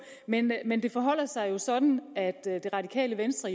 men men det forholder sig jo sådan at det radikale venstre